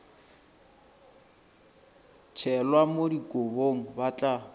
tšhelwa mo dikobong ba tla